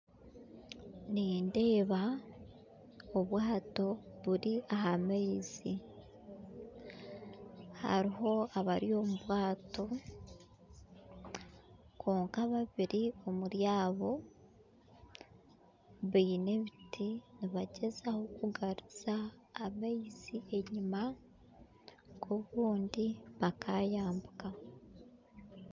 Nindeeba obwato buri aha maizi hariho abari omu bwato kwonka babiri omuri abo baine ebiti nibagyezaho kugaruza amaizi enyima ngu obundi bakayambuka